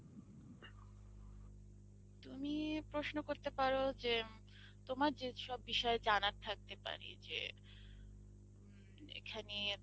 তুমি প্রশ্ন করতে পারো যে তোমার যেসব বিষয়ে জানার থাকতে পারে যে উম এখানে